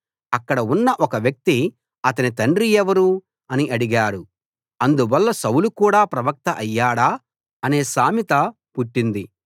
అక్కడ ఉన్న ఒక వ్యక్తి అతని తండ్రి ఎవరు అని అడిగాడు అందువల్ల సౌలు కూడా ప్రవక్త అయ్యాడా అనే సామెత పుట్టింది